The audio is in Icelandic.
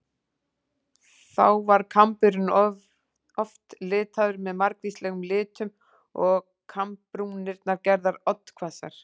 Þá var kamburinn oft litaður með margvíslegum litum og kambbrúnirnar gerðar oddhvassar.